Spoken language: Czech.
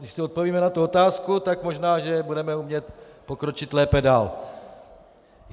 Když si odpovíme na tu otázku, tak možná že budeme umět pokročit lépe dál.